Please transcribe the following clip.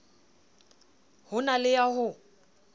ho na le ya ho